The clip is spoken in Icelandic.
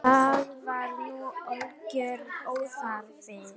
Það var nú algjör óþarfi.